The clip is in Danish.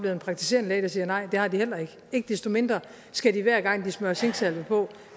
en praktiserende læge der siger nej det havde de heller ikke ikke desto mindre skal de hver gang de smører zinksalve på